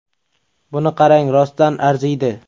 Buni qarang rostdan arziydi!.